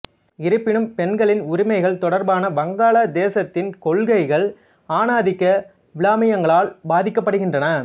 இருப்பினும் பெண்களின் உரிமைகள் தொடர்பான வங்காளதேசத்தின் கொள்கைகள் ஆணாதிக்க விழுமியங்களால் பாதிக்கப்படுகின்றன